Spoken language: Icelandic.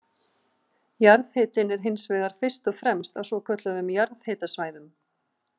Jarðhitinn er hins vegar fyrst og fremst á svokölluðum jarðhitasvæðum.